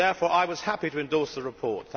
I was happy to endorse the report.